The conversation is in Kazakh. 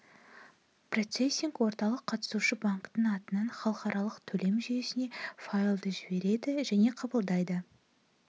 процессинг орталық қатысушы банктің атынан халықаралық төлем жүйесіне файлды жібереді және қабылдайды